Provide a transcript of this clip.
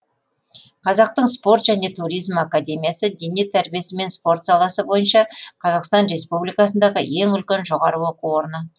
қазақтың спорт және туризм академиясы дене тәрбиесі мен спорт саласы бойынша қазақстан республикасындағы ең үлкен жоғары оқу орыны